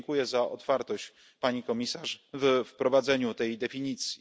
Tu dziękuję za otwartość Pani Komisarz we wprowadzeniu tej definicji.